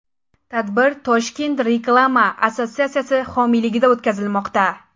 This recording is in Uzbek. Tadbir Toshkent Reklama assotsiatsiyasi homiyligida o‘tkazilmoqda.